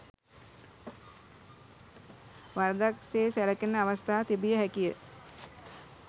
වරදක් සේ සැලකෙන අවස්ථා තිබිය හැකිය.